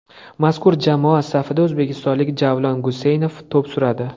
Mazkur jamoa safida o‘zbekistonlik Javlon Guseynov to‘p suradi .